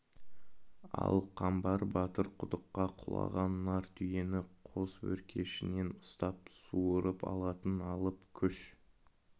ал қамбар батыр құдыққа құлаған нар түйені қос өркешінен ұстап суырып алатын алып күш